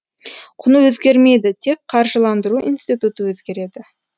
құны өзгермейді тек қаржыландыру институты өзгереді